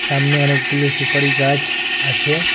সামনে অনেকগুলো সুপারি গাছ আছে।